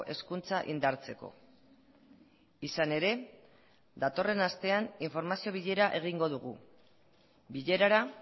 hezkuntza indartzeko izan ere datorren astean informazio bilera egingo dugu bilerara